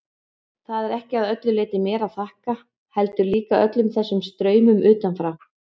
Það er ekki að öllu leyti mér að þakka, heldur líka öllum þessum straumum utanfrá.